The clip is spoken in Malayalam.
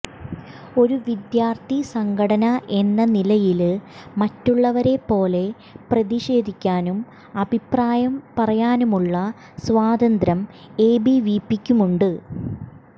ഒരു വിദ്യാര്ത്ഥി സംഘടന എന്ന നിലയില് മറ്റുള്ളവരെ പോലെ പ്രതിഷേധിക്കാനും അഭിപ്രായം പറയാനുമുള്ള സ്വാതന്ത്ര്യം എബിവിപിക്കുമുണ്ട്